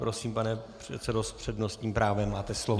Prosím, pane předsedo, s přednostním právem máte slovo.